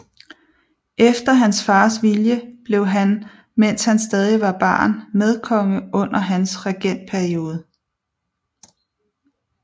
Efter hans fars vilje blev han mens han stadig var barn medkonge under hans regentperiode